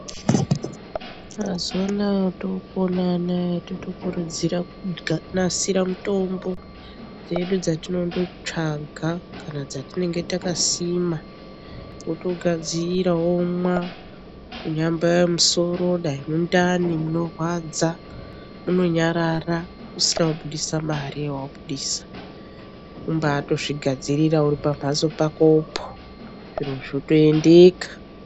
Mazuwa anaya otopona anaya totokurudzira kunasire mutombo dzedu dztinonotsvaga kana dzatinenge takasima wotogadzira womwa kunyambaya musoro dai mundani munorwadza munonyarara usina kubudisa mare yawabudisa umbawatozvigadzirira uri pamhatso pakopo zviro zvotoendeka.